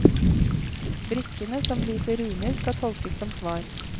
Brikkene som viser runer skal tolkes som svar.